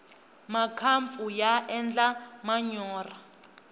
makampfu ya endla manyorha